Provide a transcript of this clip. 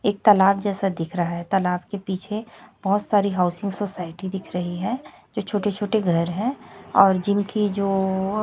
एक तलाब जैसा दिख रहा है तालाब के पीछे बहोत सारी हाउसिंग सोसायटी दिख रही है जो छोटे छोटे घर है और जिनकी जो--